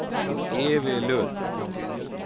Evy Lundh